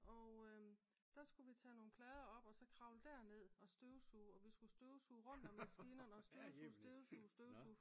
Og der skulle vi tage nogle tage nogle plader op og så kravle derned og støvsuge og vi skulle støvsuge rundt om maskinerne og støvsuge støvsuge støvsuge